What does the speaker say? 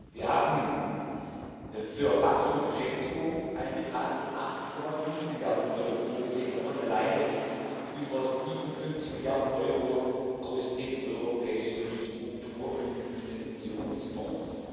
Wir haben für Wachstum und Beschäftigung einen Betrag von 80,5 Milliarden Euro vorgesehen, davon alleine über 57 Milliarden Euro aus den europäischen Struktur und Investitionsfonds.